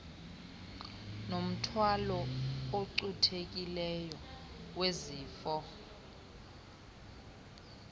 nomthwalo ocuthekileyo wezifo